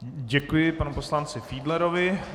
Děkuji panu poslanci Fiedlerovi.